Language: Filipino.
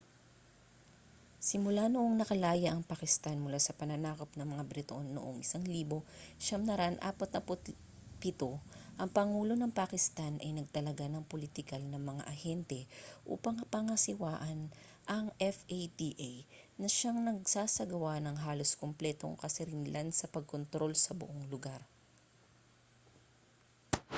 simula noong nakalaya ang pakistan mula sa pananakop ng mga briton noong 1947 ang pangulo ng pakistan ay nagtalaga ng politikal na mga ahente upang pangasiwaan ang fata na siyang nagsasagawa ng halos kumpletong kasarinlan sa pagkontrol sa buong lugar